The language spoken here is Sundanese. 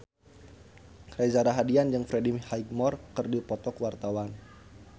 Reza Rahardian jeung Freddie Highmore keur dipoto ku wartawan